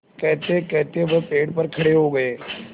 कहतेकहते वह पेड़ पर खड़े हो गए